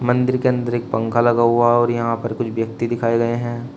मंदिर के अंदर एक पंखा लगा हुआ और यहां पर कुछ व्यक्ति दिखाए गए हैं।